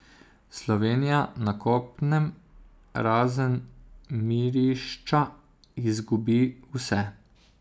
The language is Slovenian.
Slovenija na kopnem, razen Mirišča, izgubi vse.